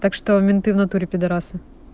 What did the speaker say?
так что менты в натуре пидарасы